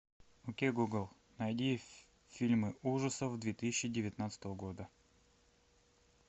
окей гугл найди фильмы ужасов две тысячи девятнадцатого года